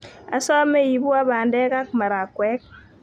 Asome iipwo pandek ak marakwek